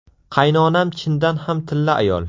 Qaynonam chindan ham tilla ayol.